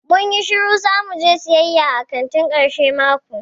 Mun yi shiru zamu je siyaya a kanti karshen mako.